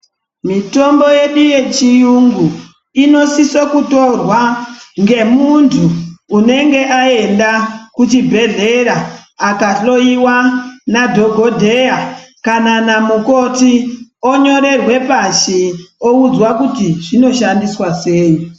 Mitombo yedu yechiyungu inosisa kutorwa ngemuntu unenge aenda kuchibhedhlera akahloiwa nadhokotera kana namukoti onyorerwa pashi oudzwa kuti zvinoshandiswa sei.